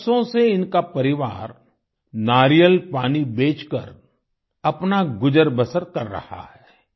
बरसों से इनका परिवार नारियल पानी बेचकर अपना गुजरबसर कर रहा है